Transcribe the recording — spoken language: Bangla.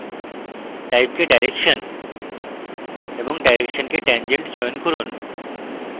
type কে direction এবং direction কে tangent চয়ন করুন